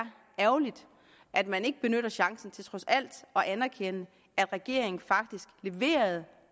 ærgerligt at man ikke benytter chancen til trods alt at anerkende at regeringen faktisk leverede et